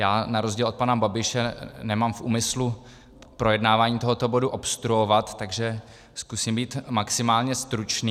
Já na rozdíl od pana Babiše nemám v úmyslu projednávání tohoto bodu obstruovat, takže zkusím být maximálně stručný.